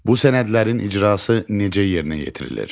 Bu sənədlərin icrası necə yerinə yetirilir?